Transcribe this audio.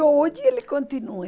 E hoje ele continua.